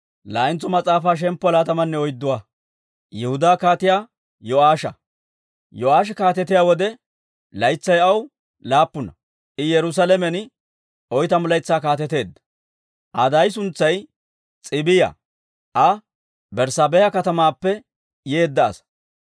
Yo'aashi kaatetiyaa wode, laytsay aw laappuna; I Yerusaalamen oytamu laytsaa kaateteedda. Aa daay suntsay S'iibiya; Aa Berssaabeha katamaappe yeedda asaa.